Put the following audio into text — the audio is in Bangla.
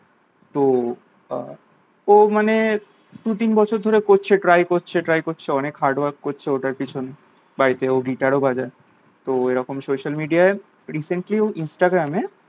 তো আহ ও মানে দুতিন বছর ধরে করছে try করছে try করছে অনেক hard work করছে ওটার পেছনে বাড়িতে ও গিটার ও বাজায় তো এরকম social media recently ও instagram